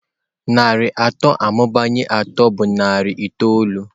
Narị atọ amụbanyere atọ bụ narị itoolu.